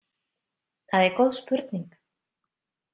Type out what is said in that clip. Það er góð spurning.